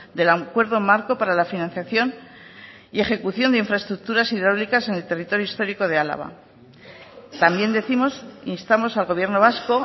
del acuerdo marco para la financiación y ejecución de infraestructuras hidráulicas en el territorio histórico de álava también décimos instamos al gobierno vasco